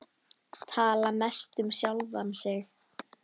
Tala mest um sjálfan sig.